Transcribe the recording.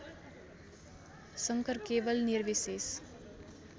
शङ्कर केवल निर्विशेष